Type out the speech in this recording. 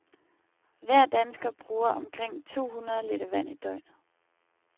Hver dansker bruger omkring to hundrede liter vand i døgnet.